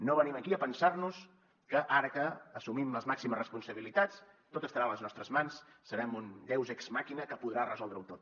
no venim aquí a pensar nos que ara que assumim les màximes responsabilitats tot estarà a les nostres mans serem un deus ex machina que podrà resoldre ho tot